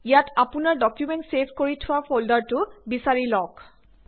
ইয়াত আপোনাৰ document save কৰি থোৱা ফল্ডাৰটো বিছাৰি লওঁক